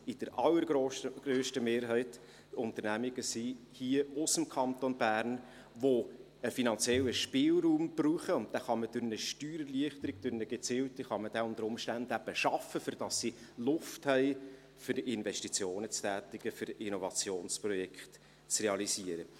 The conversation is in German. Die allergrösste Mehrheit sind Unternehmen hier aus dem Kanton Bern, die einen finanziellen Spielraum brauchen, und durch eine gezielte Steuererleichterung kann man diesen unter Umständen schaffen, damit sie Luft haben, um Investitionen zu tätigen, um Innovationsprojekte zu realisieren.